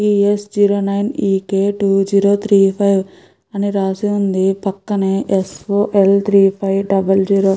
ఈ S zero nine E K two zero three five అని రాసి ఉంది పక్కనే S O L three five double zero --